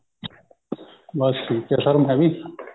ਬਸ ਠੀਕ ਐ sir ਮੈਂ ਵੀ